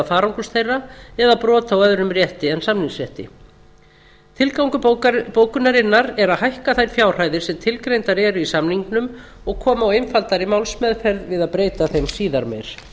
farangurs þeirra eða brota á öðrum rétti en samningsrétti tilgangur bókunarinnar er að hækka þær fjárhæðir sem tilgreindar eru í samningnum og koma á einfaldari málsmeðferð við að breyta þeim síðar meir